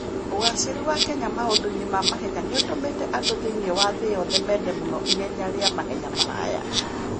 Ũgaacĩru wa Kenya maũndũ-inĩ ma mahenya nĩ ũtũmĩte andũ thĩinĩ wa thĩ yothe mende mũno ihenya rĩa mahenya maraya.